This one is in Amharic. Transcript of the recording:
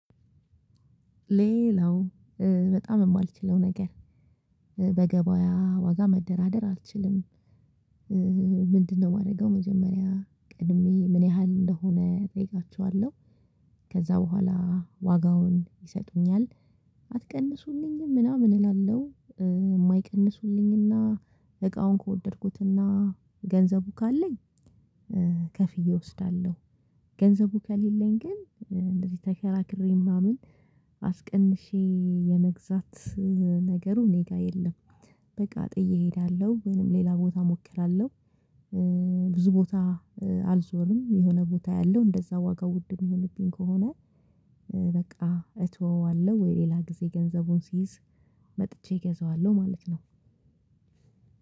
ሌላው ኧ በጣም የማልችለው ነገር ኧ በገበያ ዋጋ መደራደር አልችልም። ኧኧ ምንድነው የማደርገው መጀመሪያ ቀድሜ ምን ያህል እንደሆነ እጠይቃችኋለሁ። ከዛ በኋላ ዋጋውን ይሰጡኛል አትቀንሱልኝም ምናምን እላለሁ የማይቀንሱልኝና እቃውን ከወደድኩትና ገንዘቡ ካለኝ ከፍዬ እወስዳለሁ። ገንዘቡ ከሌለኝ ግን እንደዚህ ተከራክሬ ምናምን አስቀንሼ የመግዛት ነገሩ ኔጋ የለም። በቃ ጥዬ እሄዳለሁ ወይንም ሌላ ቦታ እሞክራለሁ። ኧ ብዙ ቦታ አልዞርም የሆነ ቦታ አያለው እንደዛ ዋጋ ውድ የሚሆንብኝ ከሆነ። በቃ እተወዋለሁ ወይ ሌላ ጊዜ ገንዘቡን ሲይዝ መጥቼ እገዛዋለሁ ማለት ነው።